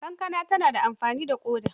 Kankana tana da amfani ga ƙoda.